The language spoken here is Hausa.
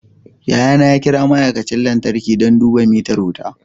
Yayana ya kira ma'aikacin lantarki don duba mitar wuta